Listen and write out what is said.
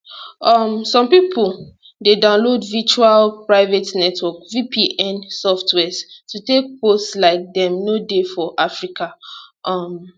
um so some pipo dey download virtual private network vpn softwares to take pose like dem no dey for africa um